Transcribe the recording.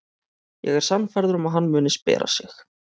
Ég er sannfærður um að hann muni spjara sig.